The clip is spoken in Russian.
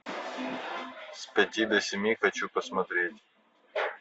с пяти до семи хочу посмотреть